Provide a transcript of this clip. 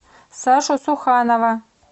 сашу суханова